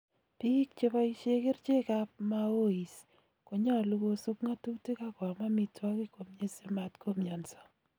Biik chepoisyee kercheek ab MAOIs konyalu kosub ng'atutik akoam amitwakiik komyee simatkomyansaa